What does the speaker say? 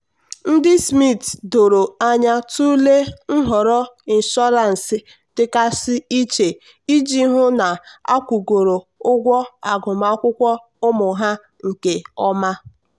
ndị smith doro anya tụlee nhọrọ inshọransị dịgasị iche iji hụ na akwụgoro ụgwọ agụmakwụkwọ ụmụ ha nke ọma.